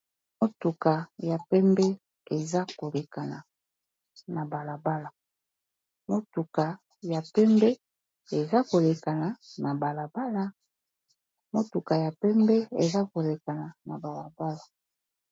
Motuka ya pembe eza kolekana na balabala.